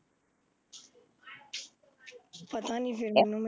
ਪਤਾ ਨਹੀਂ ਫੇਰ ਮੈਨੂੰ